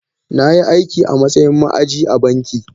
Na yi aiki a matsayin ma’aji a banki.